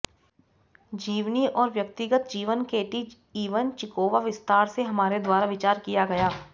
जीवनी और व्यक्तिगत जीवन केटी इवनचिकोवा विस्तार से हमारे द्वारा विचार किया गया